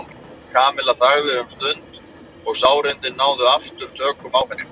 Kamilla þagði um stund og sárindin náðu aftur tökum á henni.